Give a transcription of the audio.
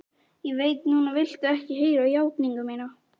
Ég veit að núna viltu ekki heyra játningu mína.